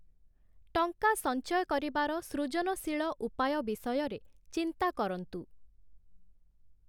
ଟଙ୍କା ସଞ୍ଚୟ କରିବାର ସୃଜନଶୀଳ ଉପାୟ ବିଷୟରେ ଚିନ୍ତା କରନ୍ତୁ ।